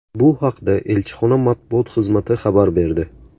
Bu haqda elchixona matbuot xizmati xabar berdi .